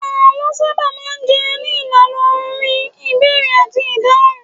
Àlọ́ sábà máa ń jẹyọ ní ìlànà orin, ìbéèrè àti ìdáhùn